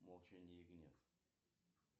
молчание ягнят